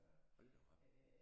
Hold da op